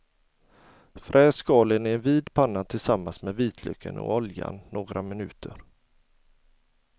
Fräs skalen i en vid panna tillsammans med vitlöken och oljan några minuter.